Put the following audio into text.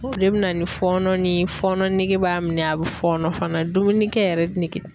O de bɛ na ni fɔɔnɔ ni fɔnɔ nege b'a minɛ a bɛ fɔɔnɔ fana dumuni kɛ yɛrɛ nege